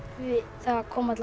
það kom